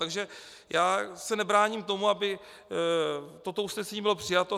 Takže já se nebráním tomu, aby toto usnesení bylo přijato.